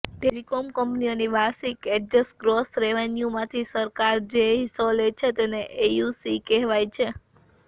telecom કંપનીઓની વાર્ષિક adjust gross રેવન્યૂમાંથી સરકાર જે હિસ્સો લે છે તેને એસયુસી કહેવાય છે